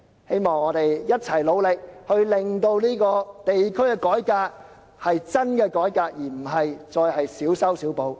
希望我們共同努力，令真正的地區改革得以推行，而不再是小修小補的改變。